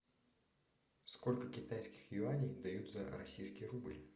сколько китайских юаней дают за российский рубль